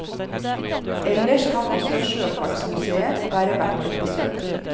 Ellers kan også sjøfartsmusèet være verdt et besøk.